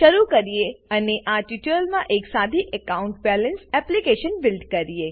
શરુ કરીએ અને આ ટ્યુટોરીયલમાં એક સાદી એકાઉન્ટ બેલેન્સ એપ્લીકેશન બીલ્ડ કરીએ